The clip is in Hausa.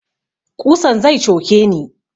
Ƙusan zai coke ni